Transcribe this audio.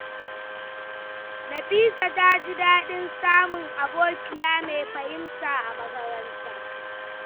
Nafisa ta ji daɗin samun abokiya mai fahimta a makaranta.